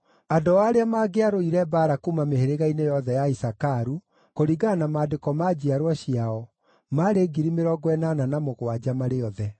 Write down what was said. Andũ ao arĩa maangĩarũire mbaara kuuma mĩhĩrĩga-inĩ yothe ya Isakaru, kũringana na maandĩko ma njiarwa ciao, maarĩ 87,000 marĩ othe.